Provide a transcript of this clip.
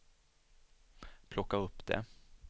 plocka upp det